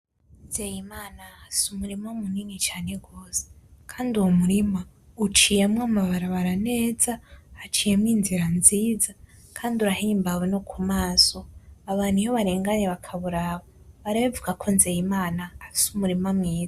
Nzeyimana afise umurima munini cane gose kandi uwo murima uciyemwo amabarabara neza haciyemwo inzira nziza kandi urahimbawe nokumaso abantu iyo barenganye bakawuraba barabivuga ko nzeyimana afise umurima mwiza.